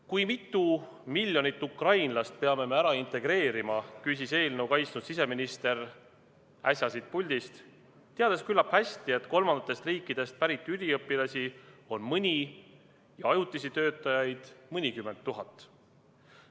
Kui mitu miljonit ukrainlast peame me ära integreerima, küsis eelnõu kaitsnud siseminister äsja siit puldist, teades küllap hästi, et kolmandatest riikidest pärit üliõpilasi on mõni tuhat ja ajutisi töötajaid mõnikümmend tuhat.